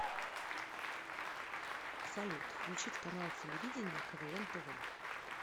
салют включить канал телевидения квн тв